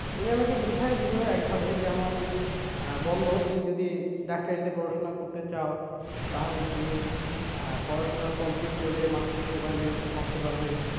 উনি আমাকে বুঝায় দিল একভাবে যেমন আহ বললো তুমি যদি ডাক্তারিতে পড়াশোনা করতে চাও তাহলে তুমি আহ পড়াশোনা complete করে মানুষের সেবায় নিয়োজিত থাকতে পারবে,